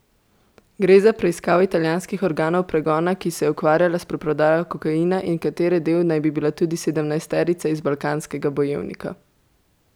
Gre za preiskavo italijanskih organov pregona, ki se je ukvarjala s preprodajo kokaina in katere del naj bi bila tudi sedemnajsterica iz Balkanskega bojevnika.